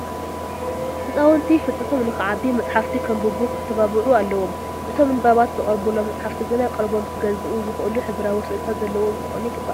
ህፃውንቲ ፍልጠቶም ንክዓቢ መፃሕፍቲ ከንብቡ ክተባብዑ ኣለዎምም፡፡ እቶም ንንባብ ዝቐርቡሎም መፃሕፍቲ ግና ቀልቦም ክገዝኡ ዝኽእሉ ሕብራዊ ስእልታት ዘለዉዎም ክኾኑ ይግባእ፡፡